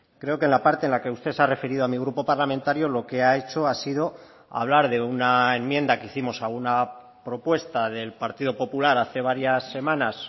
creo que en la parte en la que usted se ha referido a mi grupo parlamentario lo que ha hecho ha sido hablar de una enmienda que hicimos a una propuesta del partido popular hace varias semanas